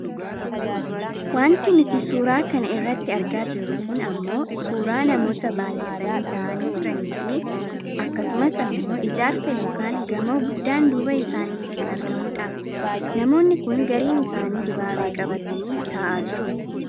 Wanti nuti suuraa kana irratti argaa jirru kun ammoo suuraa namoota baayyatanii taa'aanii jiraniifi akkasumas ammoo ijaarsa yookaan gamoo guddaan duuba isaaniitti kan argamudha. Namoonni kun gariin isaanii dibaabee qabatanii taa'aa jiru.